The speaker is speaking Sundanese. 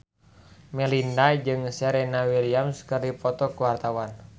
Melinda jeung Serena Williams keur dipoto ku wartawan